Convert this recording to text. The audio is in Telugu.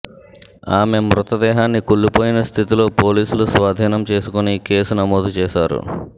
ఆమె మృతదేహాన్ని కుళ్లిపోయిన స్థితిలో పోలీసులు స్వాధీనం చేసుకుని కేసు నమోదు చేశారు